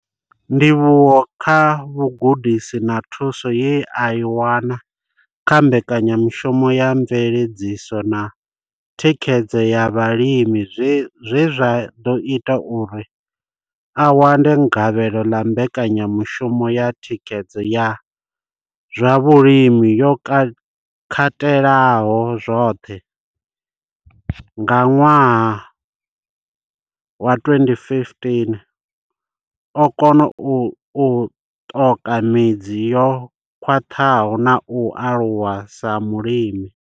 Ndivhuwo kha vhugudisi na thuso ye a i wana kha mbekanyamushumo ya mveledziso na thikhedzo ya vhalimi zwe zwa ḓo ita uri a wane gavhelo ḽa mbekanyamushumo ya thikhedzo ya zwa vhulimi yo katelaho zwoṱhe, CASP, nga 2015, o kona u ṱoka midzi yo khwaṱhaho na u aluwa sa mulimi.